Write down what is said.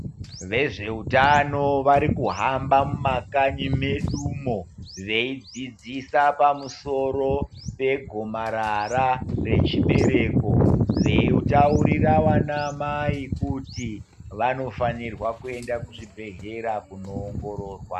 Vezveutano varikuhamba mumakanyi medumo veidzidzisa pamusoro pegomarara rechibereko veitaurira vanaamai kuti vanofanirwa kuenda kuzvibhedhlera kunoongororwa.